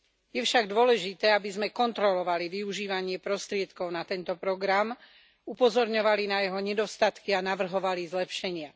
Je však dôležité, aby sme kontrolovali využívanie prostriedkov na tento program, upozorňovali na jeho nedostatky a navrhovali zlepšenia.